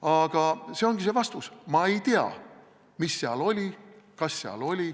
Aga see ongi vastus: ma ei tea, mis seal oli, kas seal midagi oli.